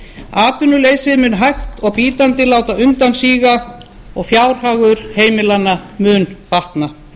atvinnuleysi mun hægt og bítandi láta undan síga og fjárhagur heimilanna mun batna vinna